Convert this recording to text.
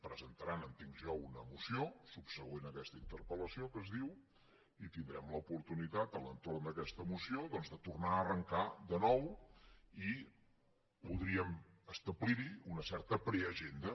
presentaran ho entenc jo una moció subsegüent a aquesta interpel·lació que es diu i tindrem l’oportunitat a l’entorn d’aquesta moció doncs de tornar a arrancar de nou i podríem establir hi una certa preagenda